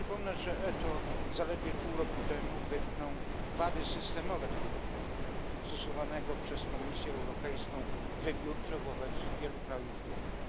Przypomnę, że ETO zaledwie pół roku temu wytknął wady systemowe tego dokumentu, stosowanego przez Komisję Europejską wybiórczo wobec wielu krajów Unii.